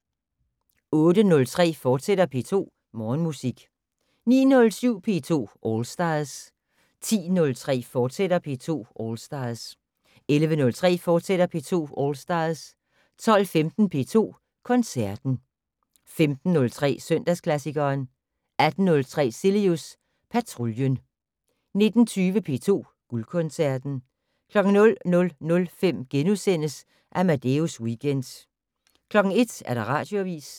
08:03: P2 Morgenmusik, fortsat 09:07: P2 All Stars 10:03: P2 All Stars, fortsat 11:03: P2 All Stars, fortsat 12:15: P2 Koncerten 15:03: Søndagsklassikeren 18:03: Cilius Patruljen 19:20: P2 Guldkoncerten 00:05: Amadeus Weekend * 01:00: Radioavis